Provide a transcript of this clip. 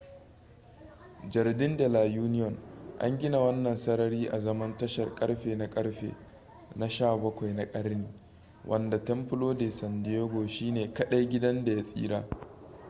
jardín de la unión. an gina wannan sarari azaman tashar ƙarfe na ƙarfe na 17 na ƙarni wanda templo de san diego shine kadai gidan da ya tsira